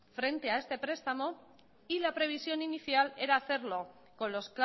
frente a este prestamo y la previsión inicial era hacerlo con los